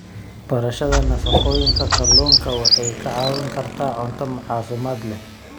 Barashada nafaqooyinka kalluunka waxay kaa caawin kartaa cunto caafimaad leh.